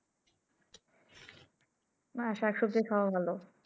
না শাক সব্জি খাওয়া ভালো।